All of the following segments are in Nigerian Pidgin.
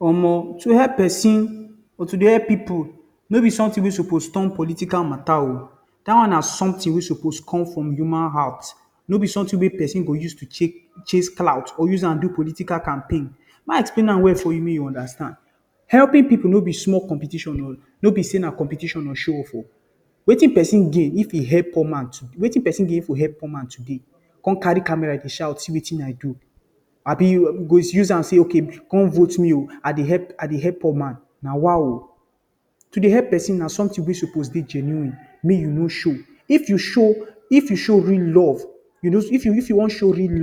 Omo! To help pesin, or to dey help pipu no be something wey suppose turn political matter oh! Dat one na something wey suppose come from human heart. No be something wey pesin go use chase clout or use am do political campaign. May I explain am well for you make you understand. Helping no be small competition oh! No be say na competition or show off. Wetin pesin gain if he help poor man? Wetin pesin gain if he help poor man today con carry camera dey shout, “See wetin I do!” Abi you go use am say, “Oh! Come vote me oh! I dey help poor man.” Nawa oh! To dey help pesin na something wey suppose dey genuine — make you no show it. If you wan show real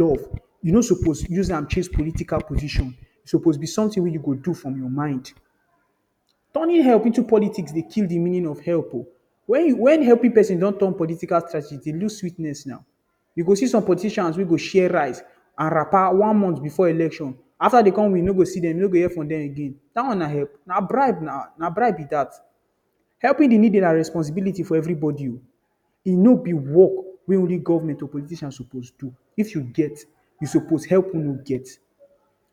love, you no suppose use am chase political position. E suppose be something wey you go do from your mind. Turning help into politics dey kill the meaning of help oh! When helping pesin don turn political strategy, e dey lose sweetness now. You go see some politicians wey go share rice and wrapper one month before election. After dem con win, you no go see dem, you no go hear from dem again. Dat one na help? Na bribe be dat. Helping the needy na responsibility for everybody oh! E no be work wey only government and politicians suppose to do. If you get, you suppose help who no get.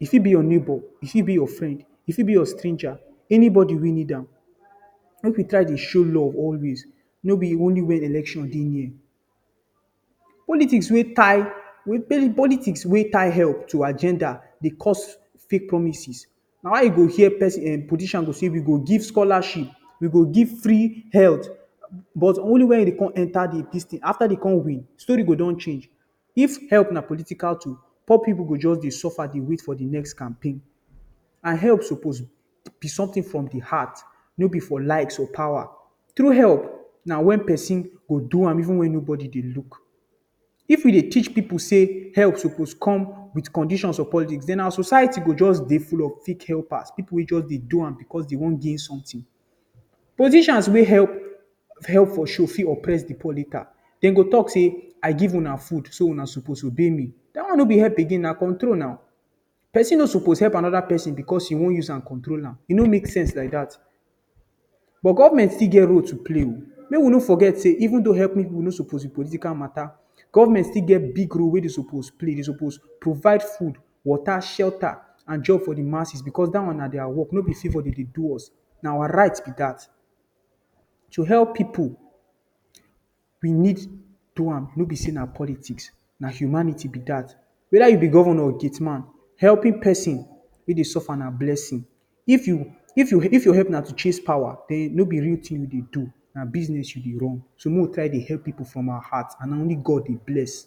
E fit be your neighbor, e fit be your friend, e fit be stranger — anybody wey need am. Make we try dey show love always — no be only when election dey near. Politics wey tie help to agenda dey cause fake promises. Na why you go hear politician go say, “We go give scholarship, we go give free health…” but only when dem wan enter office. After dem con win, story go don change. If help na political tool, poor pipu go just dey suffer dey wait for the next campaign. Help suppose be something from the heart — no be for likes or power. True help na when pesin go do am even if nobody dey look. If we dey teach pipu say help suppose come with conditions or politics, then our society go just dey full of fake helpers wey just dey do am because dem wan gain something. Politicians wey help for show or full the praise meter… Dem go talk say, “I give una food so una suppose obey me.” Dat one no be help again — na control be dat. Pesin no suppose help another pesin because e wan use am control am. E no make sense like dat. But government still get role to play oh! Make we no forget say even though helping pipu no suppose be political matter, government still get big role wey dem suppose play. Dem suppose provide food, water, shelter, and job for the masses — because dat one na their work, no be favor dem dey do us. Na our right be dat. To help pipu, we need do am — no be say na politics, na humanity be dat. Whether you be governor or gate man, helping pesin wey dey suffer na blessing. If your help na to chase power, then no be real thing you dey do — na business you dey run. So make we try dey help pipu from our heart. Na only God dey bless.